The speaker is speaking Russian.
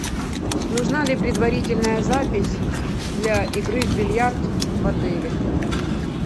нужна ли предварительная запись для игры в бильярд в отеле